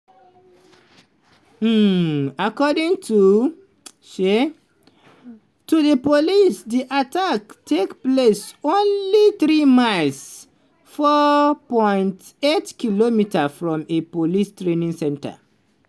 um according um to di police di attack take place only 3 miles (4.8km) from a police training centre.